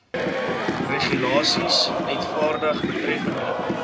regulasies uitvaardig betreffende